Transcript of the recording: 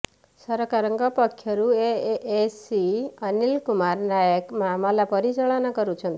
ସରକାରଙ୍କ ପକ୍ଷରୁ ଏଏସସି ଅନୀଲ କୁମାର ନାୟକ ମାମଲା ପରିଚାଳନା କରୁଛନ୍ତି